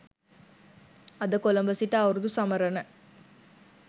අද කොළඹ සිට අවුරුදු සමරන